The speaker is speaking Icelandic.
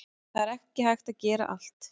Það er ekki hægt að gera allt